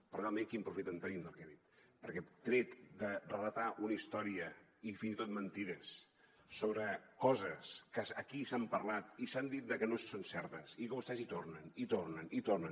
però realment quin profit en traiem del que ha dit perquè tret de relatar una història i fins i tot mentides sobre coses que aquí s’han parlat i s’ha dit que no són certes i que vostès hi tornen i hi tornen i hi tornen